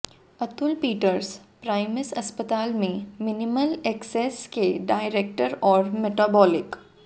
Atul Peters Primus अस्पताल में minimal access के डायरैक्टर और मेटाबॉलिक